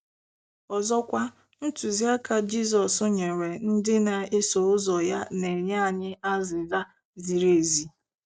Ọzọkwa, ntụziaka Jizọs nyere ndị na-eso ụzọ ya na-enye anyị azịza ziri ezi.